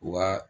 Wa